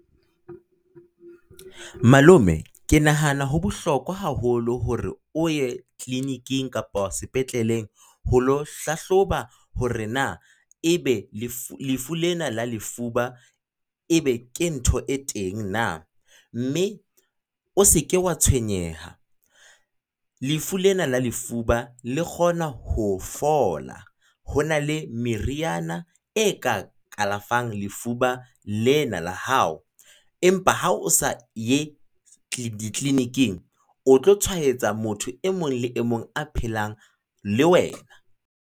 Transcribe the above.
Malome Ke nahana ho bohlokwa haholo hore o ye clinic-ing, kapa sepetleleng ho lo hlahloba hore na ebe lefu lena la lefuba ebe ke ntho e teng na? Mme o se ke wa tshwenyeha, lefu lena la lefuba le kgona ho fola. Hona le meriana e ka kalafang lefuba lena la hao. Empa ha o sa ye di clinic-ing, o tlo tshwaetsa motho e mong le e mong a phelang le wena.